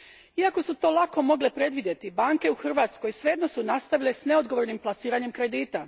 Iako su to lako mogle predvidjeti, banke u Hrvatskoj svejedno su nastavile s neodgovornim plasiranjem kredita.